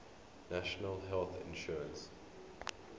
national health insurance